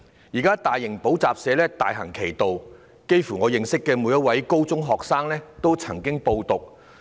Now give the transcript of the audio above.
現時大型補習社大行其道，差不多我認識的每一位高中學生都曾經報讀。